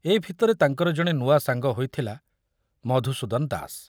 ଏ ଭିତରେ ତାଙ୍କର ଜଣେ ନୂଆ ସାଙ୍ଗ ହୋଇଥିଲା ମଧୁସୂଦନ ଦାସ।